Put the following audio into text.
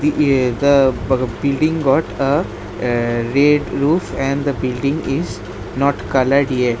The yea the ba building got a aa red roof and the building is not coloured yet.